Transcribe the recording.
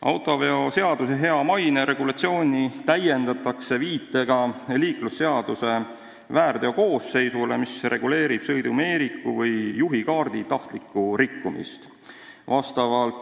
Autoveoseaduse hea maine regulatsiooni täiendatakse viitega liiklusseaduse väärteokoosseisule, mis reguleerib sõidumeeriku või juhikaardi tahtlikku rikkumist.